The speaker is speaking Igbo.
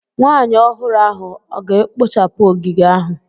Nwanyị ọhụrụ ahụ ọ ga-ekpochapụ ogige ahụ?